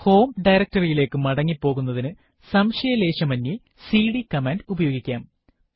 home directory യിലേക്ക് മടങ്ങി പോകുന്നതിനു സംശയലേശമന്യേ സിഡി കമാൻഡ് ഉപയോഗിക്കാം